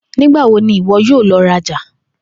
Nigbawo ni iwọ yoo lọ raja?